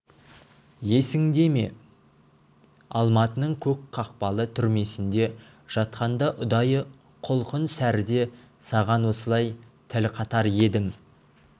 есіңде ме алматының көк қақпалы түрмесінде жатқанда ұдайы құлқын сәріде саған осылай тіл қатар едім